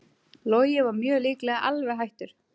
Logi mjög líklega alveg hættur